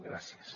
gràcies